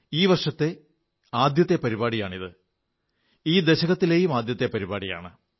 ഈ വർഷത്തിലെ ആദ്യത്തെ പരിപാടിയാണിത് ഈ ദശകത്തിലെയും ആദ്യത്തെ പരിപാടിയാണ്